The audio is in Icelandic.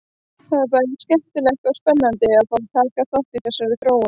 Það er bæði skemmtilegt og spennandi að fá að taka þátt í þessari þróun!